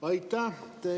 Aitäh!